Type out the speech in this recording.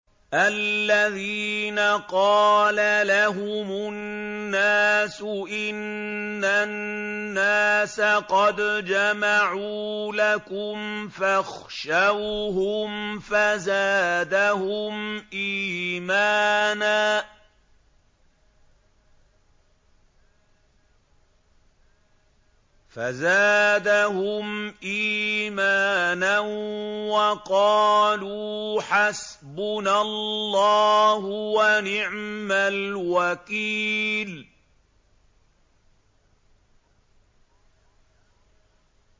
الَّذِينَ قَالَ لَهُمُ النَّاسُ إِنَّ النَّاسَ قَدْ جَمَعُوا لَكُمْ فَاخْشَوْهُمْ فَزَادَهُمْ إِيمَانًا وَقَالُوا حَسْبُنَا اللَّهُ وَنِعْمَ الْوَكِيلُ